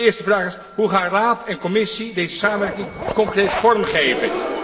De eerste vraag is hoe gaan Raad en Commissie deze samenwerking concreet vorm geven?